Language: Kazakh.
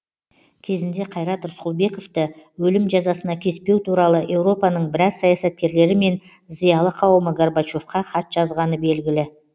кезінде қайрат рысқұлбековті өлім жазасына кеспеу туралы еуропаның біраз саясаткерлері мен зиялы қауымы горбачевқа хат жазғаны белгілі